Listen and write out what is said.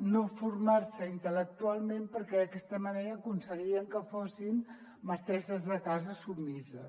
no formar se intel·lectualment perquè d’aquesta manera aconseguien que fossin mestresses de casa submises